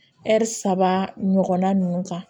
saba ɲɔgɔnna nunnu kan